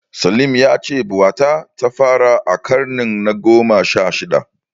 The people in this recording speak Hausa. Salim ya ce bauta ta fara a ƙarni na gona sha shida.